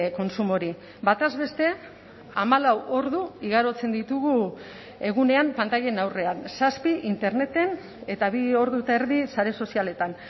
kontsumo hori bataz beste hamalau ordu igarotzen ditugu egunean pantailen aurrean zazpi interneten eta bi ordu eta erdi sare sozialetan